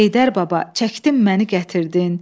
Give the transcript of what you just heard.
Heydər baba, çəkdin məni gətirdin.